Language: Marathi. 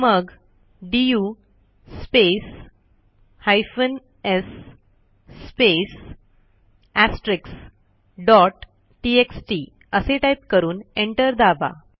मग du space hyphen s space asterisk dot txt असे टाईप करून एंटर दाबा